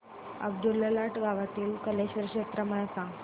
अब्दुललाट गावातील कलेश्वराची जत्रा मला सांग